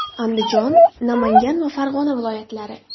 Andijon, Namangan va Farg‘ona viloyatlari .